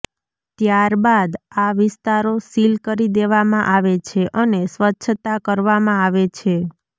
ત્યારબાદ આ વિસ્તારો સીલ કરી દેવામાં આવે છે અને સ્વચ્છતા કરવામાં આવે છે